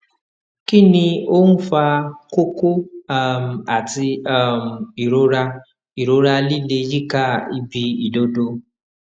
kí ni ó ń fa kókó um àti um ìrora ìrora líle yíká ibi ìdodo